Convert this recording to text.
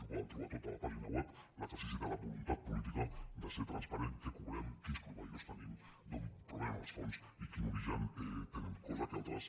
ho poden trobar tot a la pàgina web l’exercici de la voluntat política de ser transparents què cobrem quins proveïdors tenim d’on provenen els fons i quin origen tenen cosa que altres